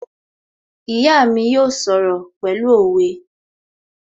My mother will speak in proverbs